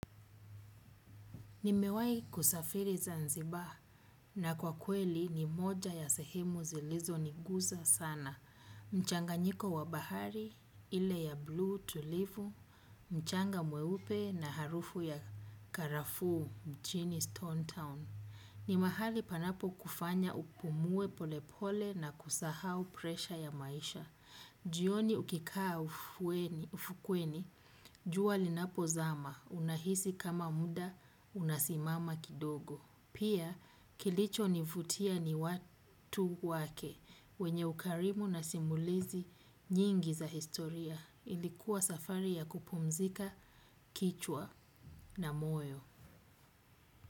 Nimewai kusafiri zanzibar na kwa kweli ni moja ya sehemu zilizo niguza sana. Mchanga nyiko wa bahari, ile ya blue tulivu, mchanga mweupe na harufu ya karafuu mchini stone town. Ni mahali panapo kufanya upumue pole pole na kusahau presha ya maisha. Jioni ukikaa ufukweni, juwa linapo zama unahisi kama muda unasimama kidogo. Pia kilicho nivutia ni watu wake wenye ukarimu nasimulizi nyingi za historia ilikuwa safari ya kupumzika kichwa na moyo.